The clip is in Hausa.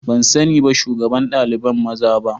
Ban sani ba shugaban daliban maza ba.